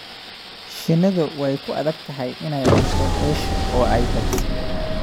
shinnidu way ku adag tahay inay cunto hesho oo ay badiso.